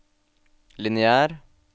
lineær